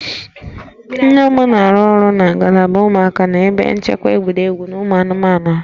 Nne m na-arụ ọrụ na ngalaba ụmụaka n'ebe nchekwa egwuregwu ụmụ anụmanụ ahụ